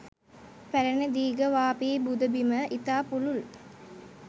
පැරැණි දීඝවාපි පුදබිම ඉතා පුළුල්